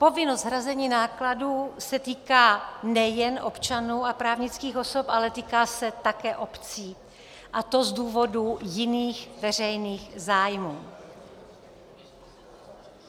Povinnost hrazení nákladů se týká nejen občanů a právnických osob, ale týká se také obcí, a to z důvodu jiných veřejných zájmů.